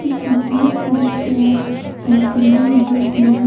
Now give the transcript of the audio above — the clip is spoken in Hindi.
उसमें बहुत सारे चेयर और टेबल लगे हुए हैं।